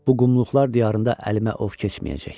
Bu qumluqlar diyarında əlimə ov keçməyəcək.